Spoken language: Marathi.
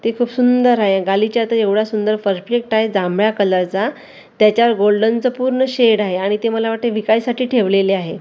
ते खूप सुंदर आहे गालिचा तर एवढा सुंदर परफेक्ट आहे जांभळ्या कलरचा त्याच्यावर गोल्डनचं पूर्ण शेड आहे आणि ते मला वाटतंय विकायसाठी ठेवलेले आहे.